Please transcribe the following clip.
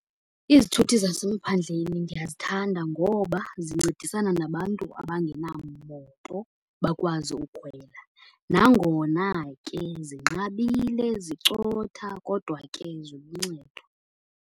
Izithuthi zasemaphandleni ndiyazithanda ngoba zincedisana nabantu abangenamoto bakwazi ukhwela. Nangona ke zinqabile, zicotha kodwa ke ziluncedo.